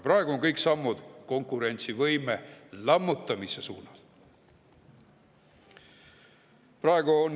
Praegu on kõik sammud konkurentsivõime lammutamise suunas.